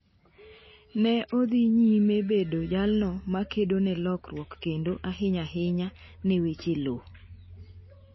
Ne odhi nyime bedo jalno ma kedo ne lokruok kendo ahinya ahinya ne weche loo